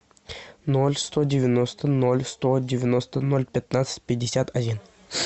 ноль сто девяносто ноль сто девяносто ноль пятнадцать пятьдесят один